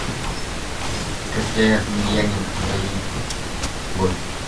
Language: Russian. кокляев емельяненко бои бой